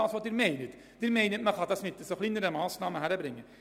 Sie meinen, diesen Betrag über kleinere Massnahmen einsparen zu können.